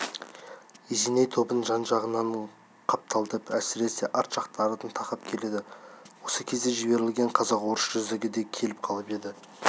есеней тобын жан-жағынан қапталдап әсіресе арт жақтарынан тақап келеді осы кезде жіберілген қазақ-орыс жүздігі де келіп қалып еді